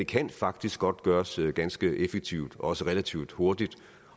kan faktisk godt gøres ganske effektivt og også relativt hurtigt